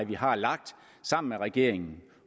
vi har lagt sammen med regeringen